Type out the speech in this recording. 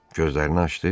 Gözlərini açdı.